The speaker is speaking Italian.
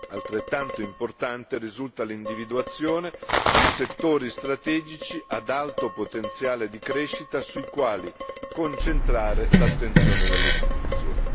Altrettanto importante risulta l'individuazione di settori strategici ad alto potenziale di crescita sui quali concentrare l'attenzione delle istituzioni.